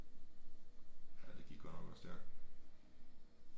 Ja det gik godt nok også stærkt